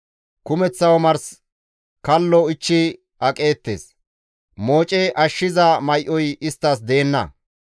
Kumeththa omars kallo ichchi aqeettes; mooce ashshiza may7oy isttas deenna.